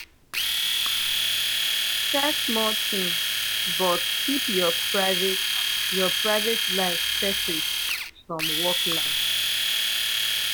share small things but keep your private your private life separate from work life